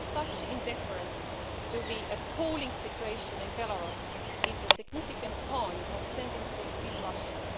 Such indifference to the appalling situation in Belarus is a significant sign of tendencies in Russia.